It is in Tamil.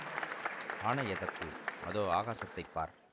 ஆணை எதற்கு அதோ ஆகாசத்தைப் பார்